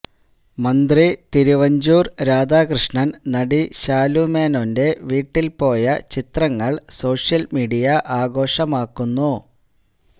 മന്ത്രി തിരുവഞ്ചൂര് രാധാകൃഷ്ണന് നടി ശാലുമേനോന്റെ വീട്ടില് പോയ ചിത്രങ്ങള് സോഷ്യല് മീഡിയ ആഘോഷമാക്കുന്നു